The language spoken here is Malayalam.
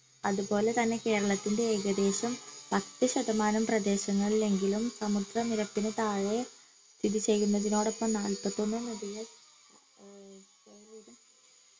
അതുപോലെ തന്നെ കേരളത്തിന്റെ ഏകദേശം പത്ത് ശതമാനം പ്രദേശങ്ങളിലെങ്കിലും സമുദ്ര നിരപ്പിനു താഴെ സ്ഥിതി ചെയ്യുന്നതിനോടൊപ്പം നാൽപത്തിയൊന്ന് നദികൾ